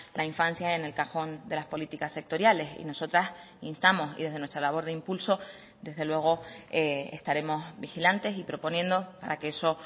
la infancia en el cajón de las políticas sectoriales y nosotras instamos y desde nuestra labor de impulso desde luego estaremos vigilantes y proponiendo para que eso